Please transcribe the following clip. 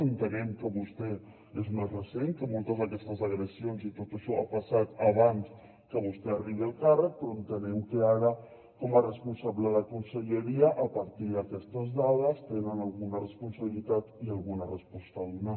entenem que vostè és més recent que moltes d’aquestes agressions i tot això ha passat abans que vostè arribi al càrrec però entenem que ara com a responsable de conselleria a partir d’aquestes dades tenen alguna responsabilitat i alguna resposta a donar